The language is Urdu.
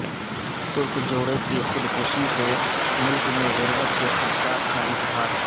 ترک جوڑے کی خودکشی سے ملک میں غربت کے خدشات کا اظہار